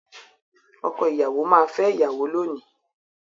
Ọkọ ìyàwó máa fẹ́ ìyàwó lónìí.